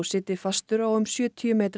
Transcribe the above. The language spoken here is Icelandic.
sitji fastur á um sjötíu metra